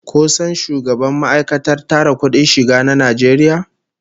Ko san shugaban ma'aikatar tara kudin shiga na Najeriya?